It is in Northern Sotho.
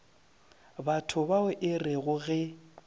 batho bao e rego ge